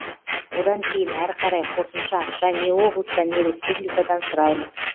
одан кейін әрі қарай қосымша ақша не облыстан не республикадан сұраймыз